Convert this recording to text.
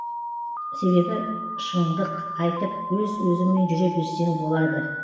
себебі шыңдық айтып өз өзіңмен жүре берсең болады